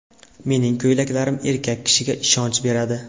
Mening ko‘ylaklarim erkak kishiga ishonch beradi.